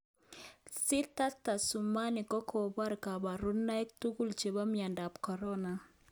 Sita Tyasutami kokobor koborunoik tugul chebo miondap corona